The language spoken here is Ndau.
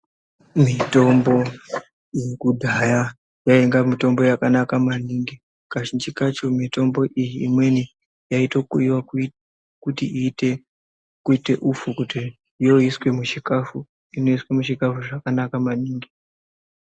Mitombo yekudhaya yainga mitombo yakanaka maningi kazhinji kacho mitombo iyi imweni yaito kuyiwa kuyiwa kuti iite upfu kuti yoiswe muchikafu inoiswa muchikafu zvakanaka maningi.